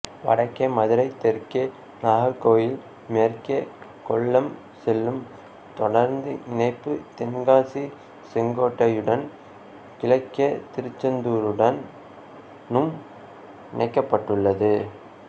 வடக்கே மதுரை தெற்கே நாகர்கோயில் மேற்கே கொல்லம் செல்லும் தொடருந்து இணைப்பு தென்காசி செங்கோட்டையுடனும் கிழக்கே திருச்செந்தூருடனும் இணைக்கப்பட்டுள்ளது